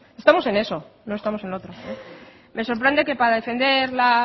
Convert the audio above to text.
estamos en eso no estamos en lo otro me sorprende que para defender la